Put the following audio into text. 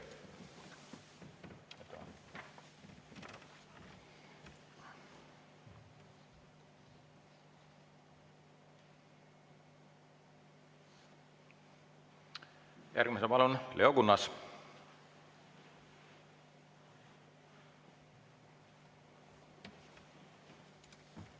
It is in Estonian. Järgmisena palun, Leo Kunnas!